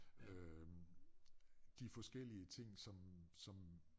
Øh de forskellige ting som som